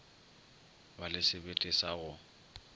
ba le sebete sa go